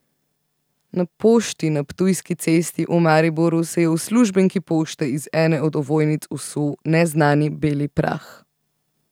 Na pošti na Ptujski cesti v Mariboru se je uslužbenki pošte iz ene od ovojnic usul neznani beli prah.